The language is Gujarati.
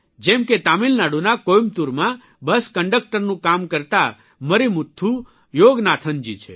જેમ કે તમિલનાડુના કોયમ્બતૂરમાં બસ કંડકટરનું કામ કરતા મરીમુથ્થુ યોગનાથનજી છે